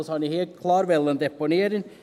Das wollte ich hier klar deponieren.